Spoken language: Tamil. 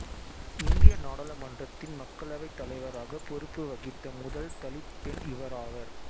இந்திய நாடாளுமன்றத்தின் மக்களவைத் தலைவராக பொறுப்பு வகித்த முதல் தலித் பெண் இவராவார்